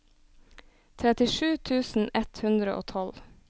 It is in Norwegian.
trettisju tusen ett hundre og tolv